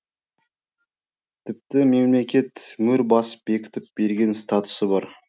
тіпті мемлекет мөр басып бекітіп берген статусы бар